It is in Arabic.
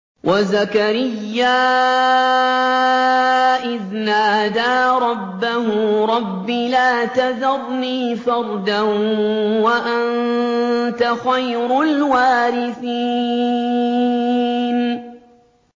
وَزَكَرِيَّا إِذْ نَادَىٰ رَبَّهُ رَبِّ لَا تَذَرْنِي فَرْدًا وَأَنتَ خَيْرُ الْوَارِثِينَ